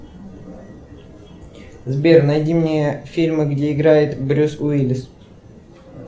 сбер найди мне фильмы где играет брюс уиллис